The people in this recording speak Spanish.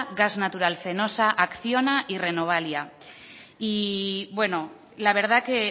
gas natural fenosa acciona y renovalia y bueno la verdad que